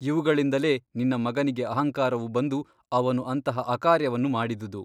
ಇವುಗಳಿಂದಲೇ ನಿನ್ನ ಮಗನಿಗೆ ಅಹಂಕಾರವು ಬಂದು ಅವನು ಅಂತಹ ಅಕಾರ್ಯವನ್ನು ಮಾಡಿದುದು.